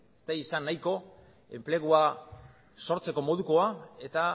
ez dira izan nahiko enplegua sortzeko modukoa eta